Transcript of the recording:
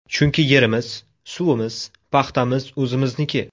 Chunki yerimiz, suvimiz, paxtamiz o‘zimizniki.